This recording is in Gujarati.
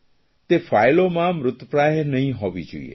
તે ફાઇલોમાં મૃતપ્રાય નહીં હોવી જોઇએ